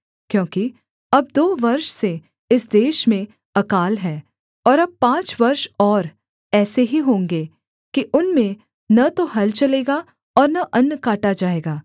क्योंकि अब दो वर्ष से इस देश में अकाल है और अब पाँच वर्ष और ऐसे ही होंगे कि उनमें न तो हल चलेगा और न अन्न काटा जाएगा